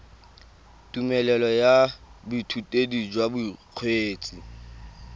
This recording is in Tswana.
tumelelo ya boithutedi jwa bokgweetsi